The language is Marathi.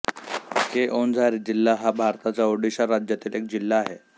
केओन्झार जिल्हा हा भारताच्या ओडिशा राज्यातील एक जिल्हा आहे